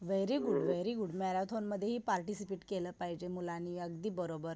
Very good, very good marathon मधेही participant केलं पाहिजे मुलांनी. अगदी बरोबर.